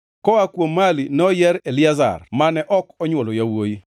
Koa kuom Mali noyier Eliazar mane ok onywolo yawuowi.